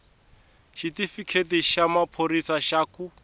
xitifiketi xa maphorisa xa ku